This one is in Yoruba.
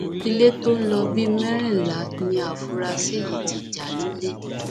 ilé tó ń lọ bíi mẹrìnlá ni àfúrásì yìí ti já lólè